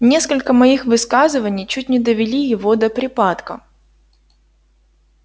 несколько моих высказываний чуть не довели его до припадка